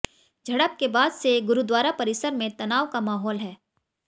झड़प के बाद से गुरुद्वारा परिसर में तनाव का माहौल है